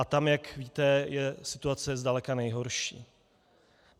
A tam, jak víte, je situace zdaleka nejhorší.